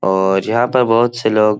और यहाँ पर बहुत से लोग --